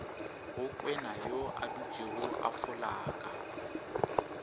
go kwenayo adutšego a folaka